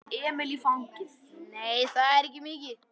Nei, það er ekki mikið.